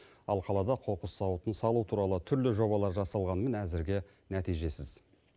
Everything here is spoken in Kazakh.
ал қалада қоқыс зауытын салу туралы түрлі жобалар жасалғанымен әзірге нәтижесіз